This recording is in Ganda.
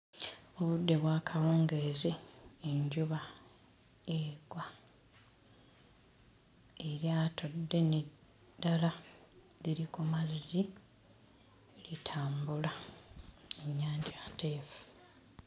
Obudde bwa kawungeezi, enjuba egwa. Eryato ddene ddala liri ku mazzi litambula ennyanja nteefu.